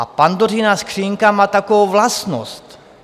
A Pandořina skříňka má takovou vlastnost.